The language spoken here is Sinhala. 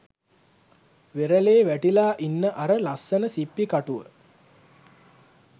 වෙරළෙ වැටිලා ඉන්න අර ලස්සන සිප්පි කටුව